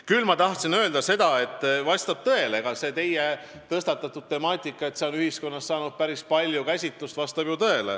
Küll ma tahtsin öelda, et vastab tõele, et see teie tõstatatud teema on ühiskonnas saanud päris palju käsitlust.